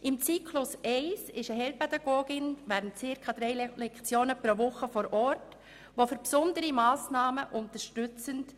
Im Zyklus 1 ist eine Heilpädagogin während ca. drei Lektionen pro Woche vor Ort, um die Klasse zu unterstützen.